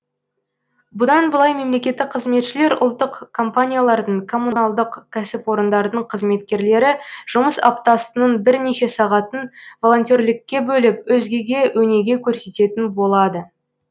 бұдан былай мемлекеттік қызметшілер ұлттық компаниялардың коммуналдық кәсіпорындардың қызметкерлері жұмыс аптасының бірнеше сағатын волонтерлікке бөліп өзгеге өнеге көрсететін болады